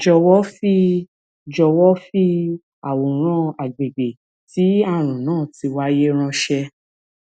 jọwọ fi jọwọ fi àwòrán àgbègbè tí ààrùn náà ti wáyé ránṣẹ